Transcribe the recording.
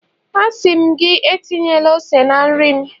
a si m gi, etinyela ose na nri m